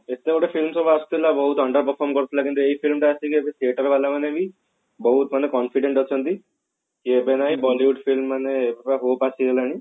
ସେତେ ବେଳେ film ସବୁ ଆସୁଥିଲା ବହୁତ ଗନ୍ଦା perform କରୁଥିଲା କିନ୍ତୁ ଏଇ film ଟା ଆସିକି ଏବେ theater ବାଲା ମାନେ ବି ବହୁତ ମାନେ confident ଅଛନ୍ତି Bollywood film ମାନେ ଆସିଗଲାଣି